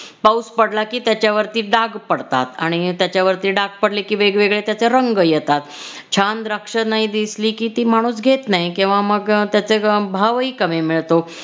पाऊस पडला की त्याच्यावरती डाग पडतात आणि त्याच्यावरती डाग पडले की वेगवेगळे त्याचे रंग येतात. छान द्राक्ष नाही दिसली की ती माणूस घेत नाही किंवा मग त्याचे भावही कमी मिळतो.